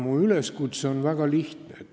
Mu üleskutse on väga lihtne.